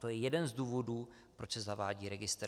To je jeden z důvodů, proč se zavádí registr.